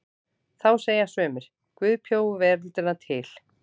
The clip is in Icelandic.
Þá segja sumir: Guð bjó veröldina til.